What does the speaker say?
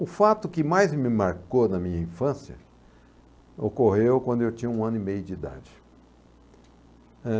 O fato que mais me marcou na minha infância ocorreu quando eu tinha um ano e meio de idade. Eh...